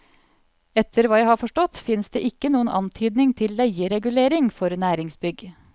Etter hva jeg har forstått, finnes det ikke noen antydning til leieregulering for næringsbygg.